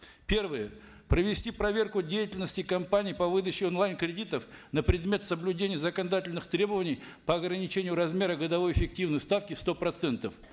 первое провести проверку деятельности компаний по выдаче онлайн кредитов на предмет соблюдения законодательных требований по ограничению размера годовой эффективной ставки в сто процентов